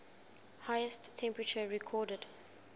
highest temperature recorded